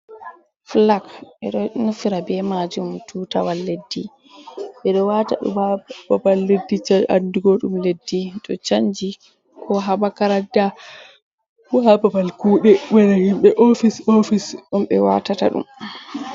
Flak ɓeɗo nufira be majum tutawal leddi, ɓeɗo wata ɗum ha babal leddi ja andugo ɗum leddi to chanji ko ha makaranta ko ha babal know, bana himbe ofis ofis ɗum ɓe watata ɗum.